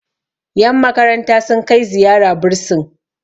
yanmakaranta sun Kai ziyara bursin